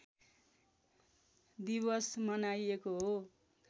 दिवस मनाइएको हो